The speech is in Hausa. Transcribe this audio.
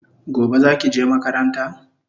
Gobe zaki je makaranta?